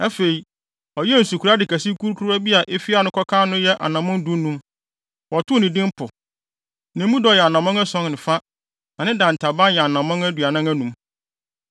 Afei, ɔyɛɛ nsukorade kɛse kurukuruwa bi a efi ano kɔka ano yɛ anammɔn dunum. Wɔtoo no din Po. Na emu dɔ yɛ anammɔn ason ne fa, na ne dantaban yɛ anammɔn aduanan anum.